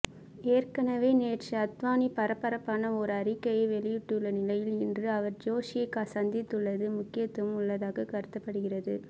ஏற்கனவே நேற்று அத்வானி பரபரப்பான ஒரு அறிக்கையை வெளியிட்டுள்ள நிலையில் இன்று அவர் ஜோஷியை சந்தித்துள்ளது முக்கியத்துவம் உள்ளதாக கருதப்படுகிறது